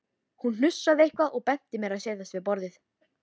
Hún hnussaði eitthvað og benti mér að setjast við borðið.